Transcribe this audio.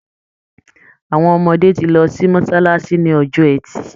Àwọn ọmọdé tí lọ sí mọ́sálásí ní ọjọ́ ẹtì.